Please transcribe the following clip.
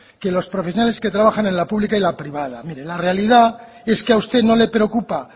que los profesionales que trabajan en la pública y en la privada mire la realidad es que a usted no le preocupa